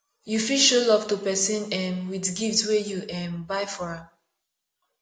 you fit show love to persin um with gift wey you um buy for am